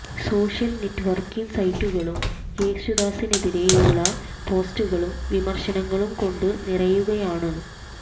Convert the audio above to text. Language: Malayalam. സോഷ്യല് നെറ്റ്വര്ക്കിംഗ് സൈറ്റുകളും യേശുദാസിനെതിരെയുള്ള പോസ്റ്റുകളും വിമര്ശനങ്ങളും കൊണ്ട് നിറയുകയാണ്